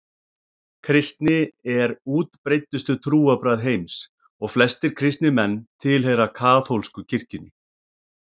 Kristni er útbreiddustu trúarbrögð heims og flestir kristnir menn tilheyra kaþólsku kirkjunni.